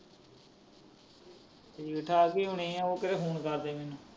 ਠੀਕ ਠਾਕ ਈ ਹੋਣੀ ਏ। ਉਹ ਕਿਹੜਾ ਫੋਨ ਕਰਦੀ ਮੈਨੂੰ।